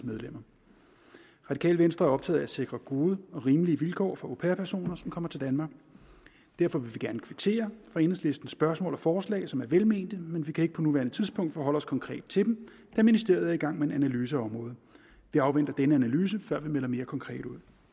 medlemmer radikale venstre er optaget af at sikre gode og rimelige vilkår for au pair personer som kommer til danmark derfor vil vi gerne kvittere for enhedslistens spørgsmål og forslag som er velmente men vi kan ikke på nuværende tidspunkt forholde os konkret til dem da ministeriet er i gang med en analyse af området vi afventer den analyse før vi melder mere konkret ud